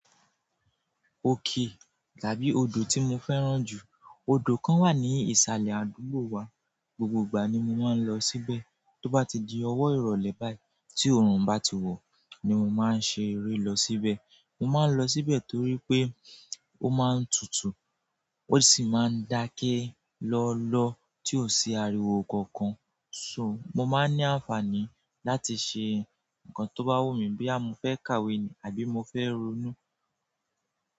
Òkè tàbí odò tí mo fẹ́ràn jù, odò kan wà ní ìsàlẹ̀ àdúgbò wa. Gbogbo ìgbà ni mo máa ń lọ síbẹ̀. Tó bá ti di ọwọ́ ìrọ̀lẹ́ báyìí, tí òrùn bá ti wọ̀ ni mo máa ń ṣe eré lọ síbẹ̀. Mo máa ń lọ síbẹ̀ torí pé ó máa ń tutù, ó sì máa ń dáké lọ́lọ́ tí ò sí ariwo kankan. So mo máa ń ní àǹfààní láti ṣe nǹkan tó bá wù mi, bí i mo fẹ́ kàwé nì àbí mo fẹ́ ronú.